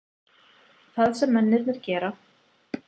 Það sem mennirnir gera?